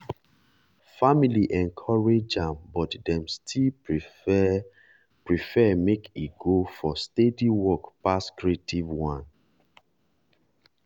family encourage am but dem still prefer prefer make e go for steady work pass creative one